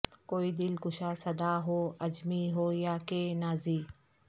کوئی دل کشا صدا ہو عجمی ہو یا کہ نازی